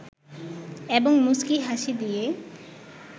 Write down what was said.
এবং মুচকি হাসি দিয়ে